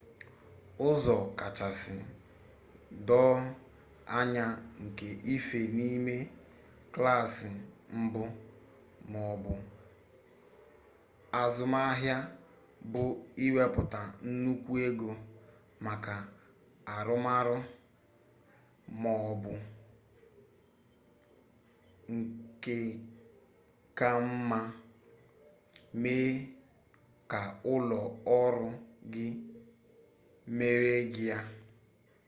ụzọ kachasị doo anya nke ife n’ime klaasị mbụ ma ọ bụ azụmahịa bụ iwepụta nnukwu ego maka urūàmàrà ma ọ bụ nke ka mma mee ka ụlọ ọrụ gị mere gị ya